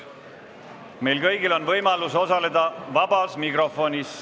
Meil kõigil on võimalus osaleda vabas mikrofonis.